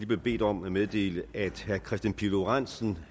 bedt om at meddele at herre kristian pihl lorentzen